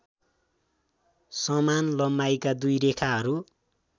समान लम्बाइका दुई रेखाहरू